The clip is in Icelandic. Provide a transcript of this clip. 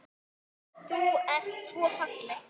Þú ert svo falleg.